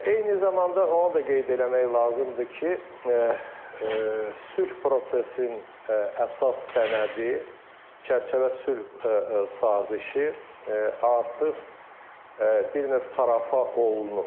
Eyni zamanda onu da qeyd eləmək lazımdır ki, sülh prosesinin əsas sənədi, çərçivə sülh sazişi artıq bir növ parafa olunub.